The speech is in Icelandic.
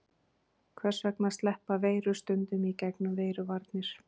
Hvers vegna sleppa veirur stundum í gegnum veiruvarnir?